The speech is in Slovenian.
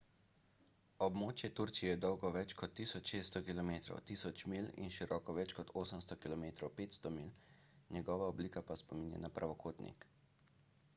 območje turčije je dolgo več kot 1600 km 1000 milj in široko več kot 800 km 500 milj njegova oblika pa spominja na pravokotnik